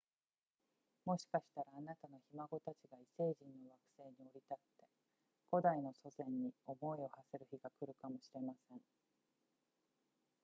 もしかしたらあなたのひ孫たちが異星人の惑星に降り立って古代の祖先に思いを馳せる日が来るかもしれません